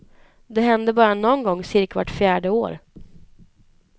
Det händer bara någon gång cirka vart fjärde år.